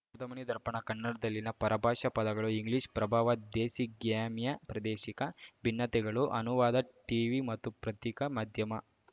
ಶಬ್ದಮಣಿ ದರ್ಪಣ ಕನ್ನಡದಲ್ಲಿನ ಪರಭಾಷಾ ಪದಗಳು ಇಂಗ್ಲಿಷ್‌ ಪ್ರಭಾವ ದೇಸಿಗ್ಯಾಮ್ಯಪ್ರಾದೇಶಿಕ ಭಿನ್ನತೆಗಳು ಅನುವಾದ ಟೀವಿ ಮತ್ತು ಪ್ರತ್ತಿಕಾ ಮಾಧ್ಯಮ